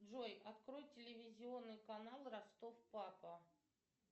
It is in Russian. джой открой телевизионный канал ростов папа